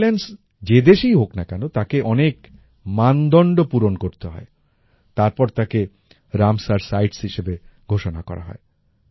wait lands যে দেশেই হোক না কেন তাকে অনেক মানদন্ড পূরণ করতে হয় তারপর তাকে রামসার সাইটস হিসেবে ঘোষণা করা হয়